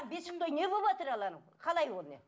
бесік той не болыватыр ал анау қалай ол